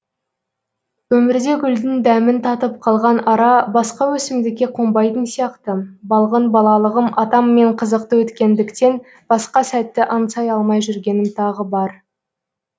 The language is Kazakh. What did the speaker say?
өмірде гүлдің дәмін татып қалған ара басқа өсімдікке қонбайтын сияқты балғын балалығым атаммен қызықты өткендіктен басқа сәтті аңсай алмай жүргенім тағы бар